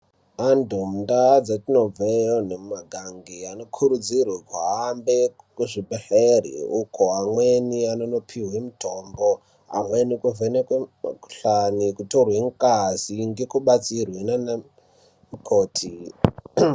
Vantu mundau dzatinobva iyo nemumagange vanokurudzirwa kuhambe muzvibhedhlera uko amweni anondopihwa mutombo amweni kuvhenekwa mukuhlani kutorwa ngazi nekubatsirwa nana mukoti.